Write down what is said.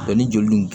Dɔnni joli dun